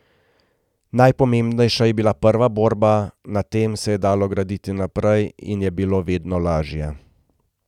Najpomembnejša je bila prva borba, na tem se je dalo graditi naprej in je bilo vedno lažje.